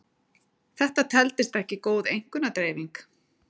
þetta teldist ekki góð einkunnadreifing